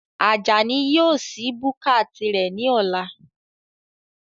Ajani yóò sí búkà tirẹ̀ ní ọ̀la